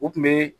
U tun bɛ